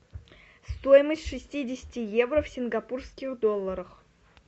стоимость шестидесяти евро в сингапурских долларах